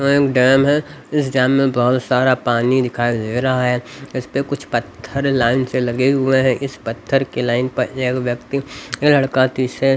यहां एक डैम है इस डैम में बहुत सारा पानी दिखाई दे रहा है इस पे कुछ पत्थर लाइन से लगे हुए हैं इस पत्थर के लाइन पर एक व्यक्ति एक लड़का तिसे --